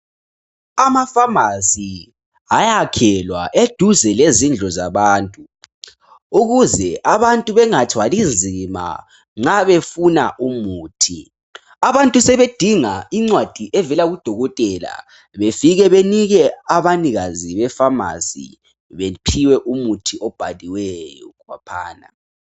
Amafamasi ayakhelwa eduze lezindlu zabantu ukuze abantu bangathwali nzima nxa befuna umuthi. Abantu sebedinga incwadi evela kudokotela befike benike abanikazi befamasi bephiwe umuthi obhaliweyo khonaphana.